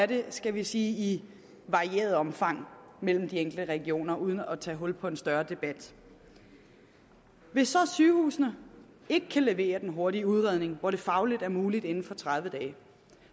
det i skal vi sige varieret omfang mellem de enkelte regioner uden at vi skal tage hul på en større debat hvis så sygehusene ikke kan levere den hurtige udredning hvor det er fagligt muligt inden for tredive dage